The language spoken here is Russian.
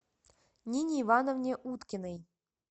нине ивановне уткиной